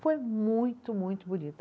Foi muito, muito bonito.